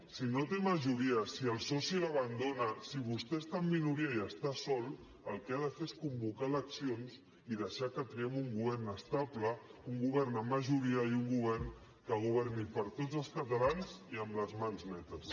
si no té majoria si el soci l’abandona si vostè està en minoria i està sol el que ha de fer és convocar eleccions i deixar que triem un govern estable un govern amb majoria i un govern que governi per a tots els catalans i amb les mans netes